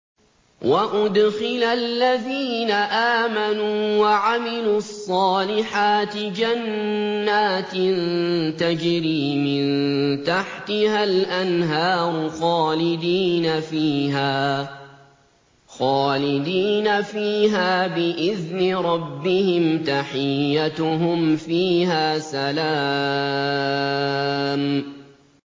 وَأُدْخِلَ الَّذِينَ آمَنُوا وَعَمِلُوا الصَّالِحَاتِ جَنَّاتٍ تَجْرِي مِن تَحْتِهَا الْأَنْهَارُ خَالِدِينَ فِيهَا بِإِذْنِ رَبِّهِمْ ۖ تَحِيَّتُهُمْ فِيهَا سَلَامٌ